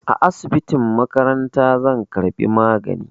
A asibitin makaranta zan karbi magani